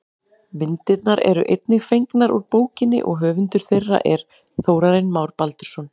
Myndirnar eru einnig fengnar úr bókinni og höfundur þeirra er Þórarinn Már Baldursson.